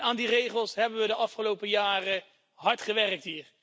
Aan die regels hebben we hier de afgelopen jaren hard gewerkt.